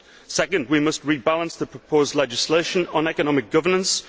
Second, we must rebalance the proposed legislation on economic governance.